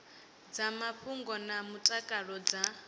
dza mafhungo na mutakalo dza